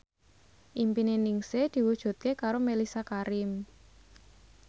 impine Ningsih diwujudke karo Mellisa Karim